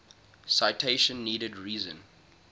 citation needed reason